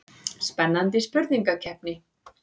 Spennandi spurningakeppni.